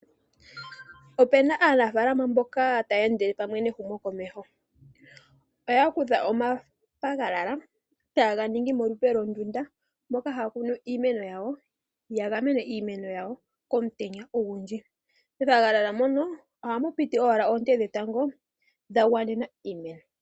Opena aanafalama mboka taye ndele pamwe nehumo komeho. Oya kutha omathagalala taganingi molupe londunda moka haakunu iimeno yawo, yagamane iimeno yawo komutenya ogundji , methagalala mono ohamu piti owala oonte dhetango dhagwanena iimeno.